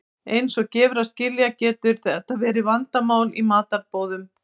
Eins og gefur að skilja getur þetta verið vandamál í matarboðum.